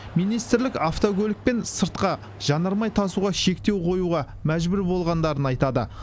министрлік автокөлікпен сыртқа жанармай тасуға шектеу қоюға мәжбүр болғандарын айтады